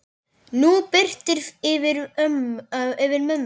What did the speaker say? Nú birtir yfir mömmu.